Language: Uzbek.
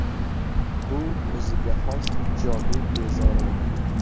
Bu o‘ziga xos ijobiy bezorilik.